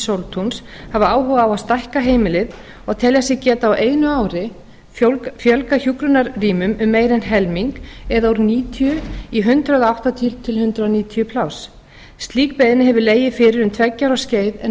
sóltúns hafa áhuga á að stækka heimilið og telja sig geta á einu ári fjölgað hjúkrunarrýmum um meira en helming eða úr níutíu í hundrað áttatíu til hundrað níutíu pláss slík beiðni hefur legið fyrir um tveggja ára skeið en